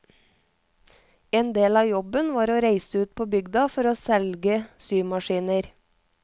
En del av jobben var å reise ut på bygda for å selge symaskiner.